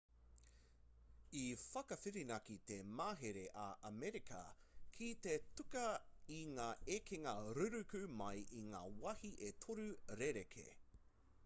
i whakawhirinaki te mahere a amerika ki te tuku i ngā ekenga ruruku mai i ngā wāhi e toru rerekē